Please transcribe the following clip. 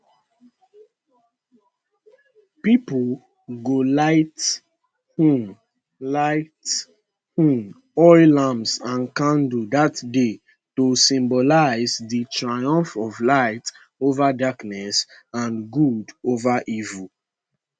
pipo go light um light um oil lamps and candles dat day to symbolise di triumph of light ova darkness and good ova evil